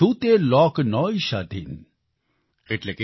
કિછુતે લોક નૉય શાધીન ||